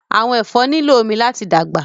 Vegetables need water to grow